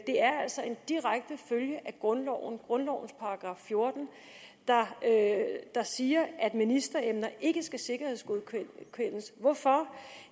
er altså en direkte følge af grundloven af grundlovens § fjorten der siger at ministeremner ikke skal sikkerhedsgodkendes hvorfor